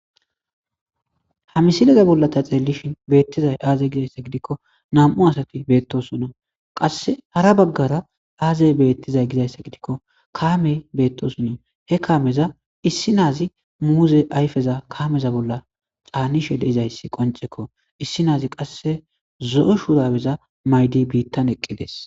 Ha misileza bolla ta xeellishin beettizay aazey gizayssa gidikko nam.u asati beettosunna qasse hara baggara aazey beettizay gizayssa gidikko kaamey beettosunna he kaameza issi naazi muuze ayfeza kaameza bolla xaanishe deizayssi qoncekko issi naazi qasse zo,o shuraweza maydi biittan eqqides.